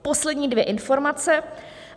Poslední dvě informace.